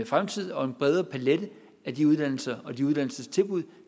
fremtid og en bredere palet af de uddannelser og de uddannelsestilbud